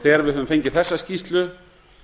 þegar við höfum fengið þessa skýrslu